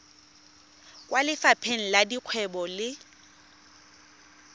kwa lefapheng la dikgwebo le